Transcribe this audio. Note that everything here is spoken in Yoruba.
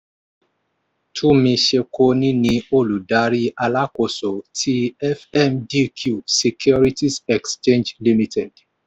túmi sekoni ni olùdarí alákóso ti fmdq securities exchange limited